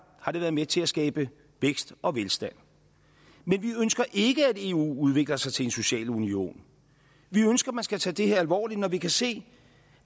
har det været med til at skabe vækst og velstand men vi ønsker ikke at eu udvikler sig til en social union vi ønsker man skal tage det her alvorligt når vi kan se